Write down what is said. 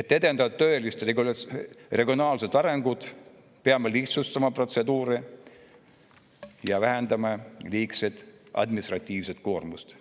Et edendada tõelist regionaalset arengut, peame lihtsustama protseduure ja vähendama liigset administratiivset koormust,